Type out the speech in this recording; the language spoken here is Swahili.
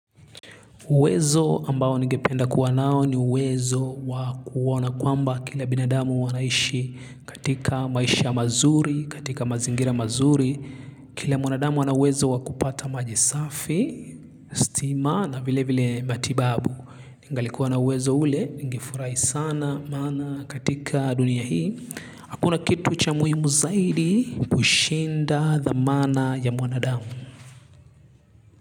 Uwezo ambao nigependa kuwa nao ni uwezo wa kuoana kwamba kila binadamu wanaishi katika maisha mazuri, katika mazingira mazuri, kila mwanadamu wanawezo wakupata majisafi, stima na vile vile matibabu. Ningalikuwa na uwezo ule, ningefurahi sana, maana katika dunia hii, hakuna kitu cha muhimu zaidi kushinda thamana ya mwanadamu.